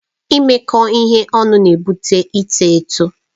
Imekọ ihe ọnụ na-ebute ịtọ eto.